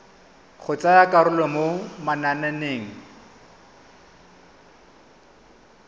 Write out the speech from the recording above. go tsaya karolo mo mananeng